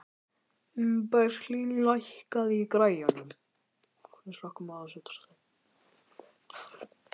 Berglín, lækkaðu í græjunum.